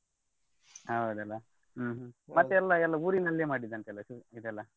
ಹೌದಲ್ಲ ಹ್ಮ್ ಹ್ಮ್ ಮತ್ತೆ ಎಲ್ಲಾ ಎಲ್ಲಾ ಊರಿನಲ್ಲೆ ಮಾಡಿದ್ ಅಂತೆ ಅಲ್ಲಾ ?